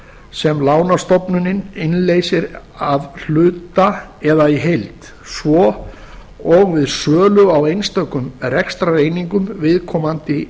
sem lánastofnunin innleysir að hluta eða í heild svo og við sölu á einstökum rekstrareiningum viðkomandi